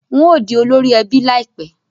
N óò di olórí ẹbí láìpẹ́